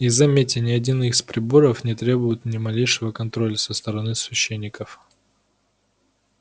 и заметьте ни один из приборов не требует ни малейшего контроля со стороны священников